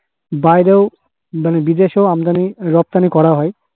বাইরেও মানে বিদেশেও আমদানি রফতানি করা হয়।